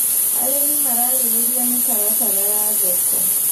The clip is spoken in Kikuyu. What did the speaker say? Arĩmi mararĩrĩria mĩtaratara ya thoko.